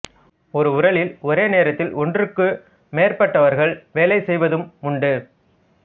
ஒரு உரலில் ஒரே நேரத்தில் ஒன்றுக்கு மேற்பட்டவர்கள் வேலை செய்வதும் உண்டு